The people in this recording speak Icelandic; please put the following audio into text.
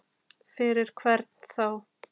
Fyrir hvern þá?